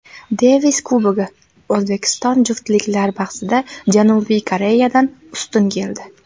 Devis Kubogi: O‘zbekiston juftliklar bahsida Janubiy Koreyadan ustun keldi.